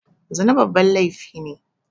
Zina babban laifi ne